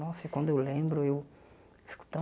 Nossa, e quando eu lembro, eu fico tão...